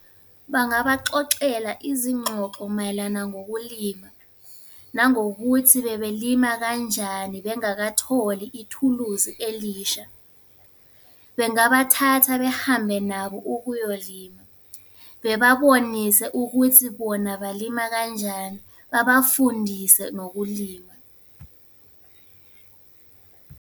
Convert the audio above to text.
Bangabaxoxela izingxoxo mayelana ngokulima. Nangokuthi bebelima kanjani bengakatholi ithuluzi elisha. Bengabathatha behambe nabo ukuyolima. Bebabonise ukuthi bona balima kanjani, babafundise nokulima.